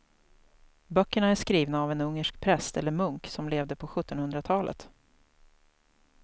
Böckerna är skrivna av en ungersk präst eller munk som levde på sjuttonhundratalet.